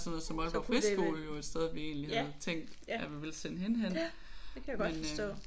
Så kunne det være. Ja det kan jeg godt forstå